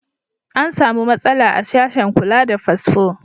An samu matsala a sashen kula da fasfo.